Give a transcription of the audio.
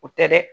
O tɛ dɛ